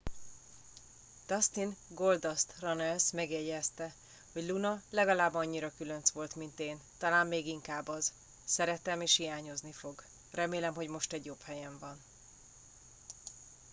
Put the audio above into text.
dustin goldust runnels megjegyezte hogy luna legalább annyira különc volt mint én talán még inkább az szeretem és hiányozni fog remélem hogy most egy jobb helyen van